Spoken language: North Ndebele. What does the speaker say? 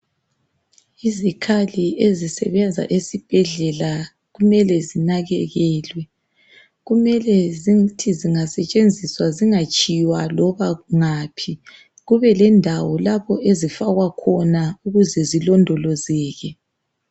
Izikhali ezisebenza esibhedlela kumele zinakekelwe. Kumele zithi zingasetshenziswa zingatshiywa loba ngaphi, kube lendawo lapho ezifakwa khona ukuze zilondolozeke.